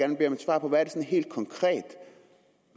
svar på hvad det helt konkret